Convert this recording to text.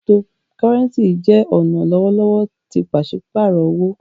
Cryptocurrency jẹ ọna lọwọlọwọ ti paṣipaarọ owo.